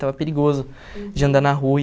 Estava perigoso de andar na rua.